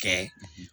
Kɛ